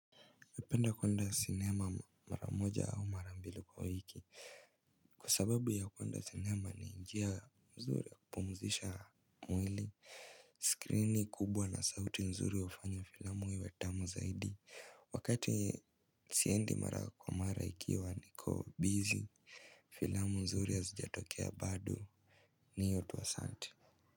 Ningependa kuenda cinema maramoja au marambili kwa wiki. Kwa sababu ya kuenda cinema ni njia mzuri ya kupumuzisha mwili. Screen ni kubwa na sauti mzuri hufanya filamu iwe tamu zaidi. Wakati siendi mara kwa mara ikiwa niko bizi, filamu mzuri hazijatokea bado ni hiyo tu asanti.